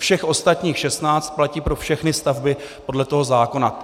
Všech ostatních 16 platí pro všechny stavby podle toho zákona.